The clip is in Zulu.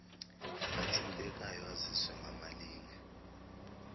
athintekayo aziswe ngamalinge